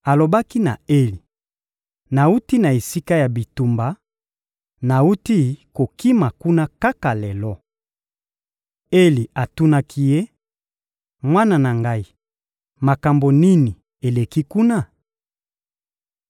Alobaki na Eli: — Nawuti na esika ya bitumba, nawuti kokima kuna kaka lelo. Eli atunaki ye: — Mwana na ngai, makambo nini eleki kuna?